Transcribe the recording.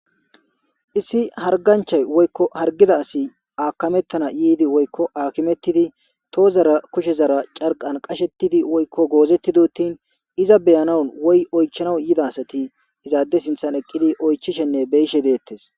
issi harganchay woykko hargida asi aakamettana yiidi woykko akimettidi toozara kushe zara carqan qashettidi woykko goozettidotin iza beyanan woy oychana yida asati izaade sinthan eqqidi oychishenne beyishe deettes